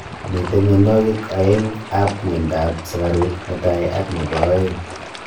mite mianwagik aeng ap miando ap sigaruk netai ak nebo aeng